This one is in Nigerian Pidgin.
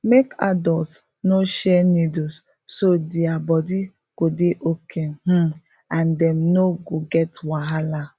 make adults no share needle so their body go dey okay um and dem no go get wahala